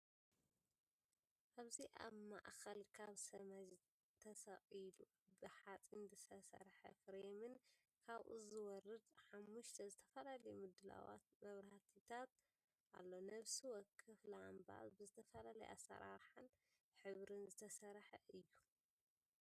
ኣብዚ ኣብ ማእከል ካብ ሰማይ ተሰቒሉ ብሓጺን ዝተሰርሐ ፍሬምን ካብኡ ዝወርድ ሓሙሽተ ዝተፈላለየ ምድላዋት መብራህቲታት ኣሎ። ነፍሲ ወከፍ ላምባ ብዝተፈላለየ ኣሰራርሓን ሕብርን ዝተሰርሐ እዩ። ምስሉ ውስጥ ያሉት መብራቶች በምን ቅርጸ ናቸው?